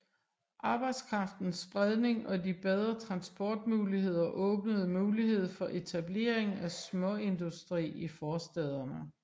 Arbejdskraftens spredning og de bedre transportmuligheder åbnede mulighed for etablering af småindustri i forstæderne